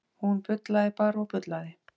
Hún bullaði bara og bullaði.